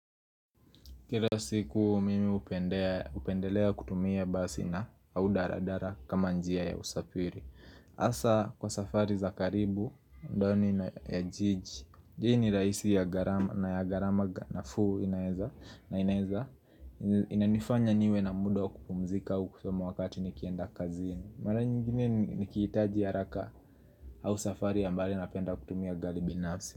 Kila siku mimi hupendelea kutumia basi na au daladala kama njia ya usafiri hasa kwa safari za karibu, ndani na ya jiji ni raisi ya garama na ya garama nafuu inaeza Inanifanya niwe na muda kupumzika kusoma wakati nikienda kazini Mara nyingine nikihitaji haraka au safari ya mbali napenda kutumia gari binafsi.